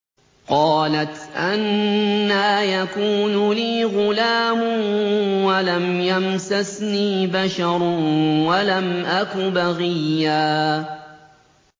قَالَتْ أَنَّىٰ يَكُونُ لِي غُلَامٌ وَلَمْ يَمْسَسْنِي بَشَرٌ وَلَمْ أَكُ بَغِيًّا